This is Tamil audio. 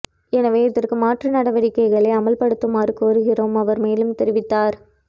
எனவே இதற்கு மாற்று நடவடிக்கைகளை அமுல் படுத்துமாறு கொருகிறோம் அவர் மேலும் தெரிவித்தார்